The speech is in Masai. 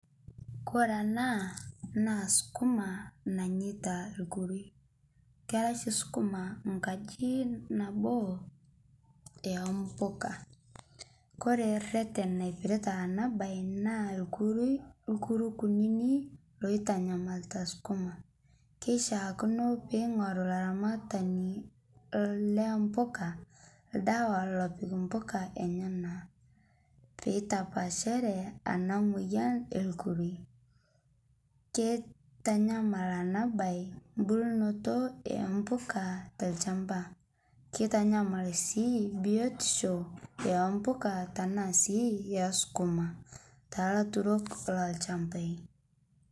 Kore ena naa skumaa nanyeita ilkuruk, kera oshi skumaa nkaji naboo o mboga. Kore reten naipirta ena baye naa irkuruk kunini loitanyamalita skumaa. Keishaakino pee eing'oru olaramatani loo mpuka oldawa lopik impuka enyena, pee eitapaashare ena moyian e nkuruk. Keitanyamal ena baye embulunoto o mbuka tolchamba, keitanyamal sii biotisho oo mpuka tanaa sii skumaa too laturok loolchambai.